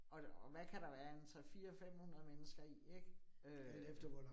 Og og hvad kan der være, en 3 4 500 mennesker i ik? Øh